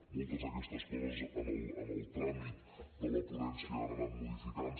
moltes d’aquestes coses en el tràmit de la ponència han anat modificant